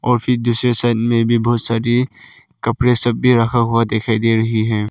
और फिर दूसरे साइड में भी बहुत सारी कपड़े सब भी रखा हुआ दिखाई दे रही है।